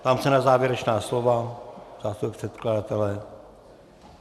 Ptám se na závěrečná slova zástupce předkladatele.